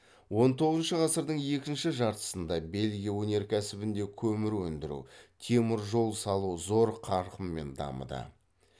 он тоғызыншы ғасырдың екінші жартысында бельгия өнеркәсібінде көмір өндіру темір жол салу зор қарқынмен дамыды